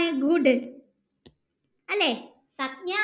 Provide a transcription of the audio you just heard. അല്ലെ